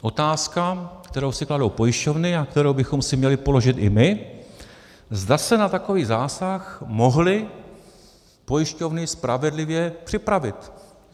Otázka, kterou si kladou pojišťovny a kterou bychom si měli položit i my, zda se na takový zásah mohly pojišťovny spravedlivě připravit.